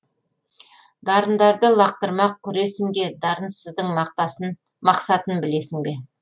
дарындарды лақтырмақ күресінге дарынсыздың мақсатын білесің бе